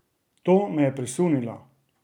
To me je presunilo!